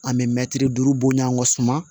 An bɛ mɛtiri duuru bon ɲani an ka suma